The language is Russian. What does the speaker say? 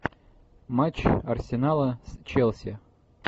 матч арсенала с челси